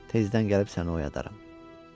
Tezdən gəlib səni oyadaram.